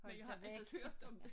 Men jeg har altid hørt om det